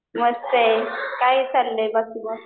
मस्त आहे काय चाललंय बाकी मग?